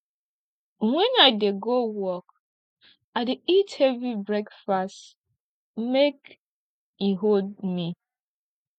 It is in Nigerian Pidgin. wen i dey go work i dey eat heavy breakfast make e hold me